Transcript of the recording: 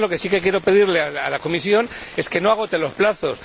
Lo que sí que quiero pedirle a la Comisión es que no agote los plazos.